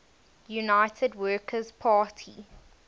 united workers party